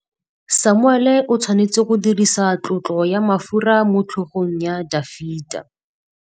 Samuele o tshwanetse go dirisa tlotsô ya mafura motlhôgong ya Dafita.